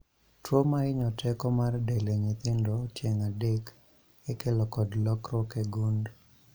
. Tuo mahinyo teko mar del e nyithindo tieng' adek ikelo kod lokruok e gund